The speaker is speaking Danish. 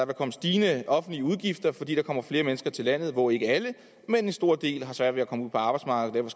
komme stigende offentlige udgifter fordi der kommer flere mennesker til landet hvoraf ikke alle men en stor del få svært ved at komme ud på arbejdsmarkedet